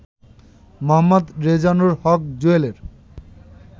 মোঃ রেজানুর হক জুয়েলের